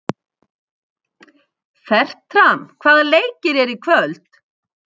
Fertram, hvaða leikir eru í kvöld?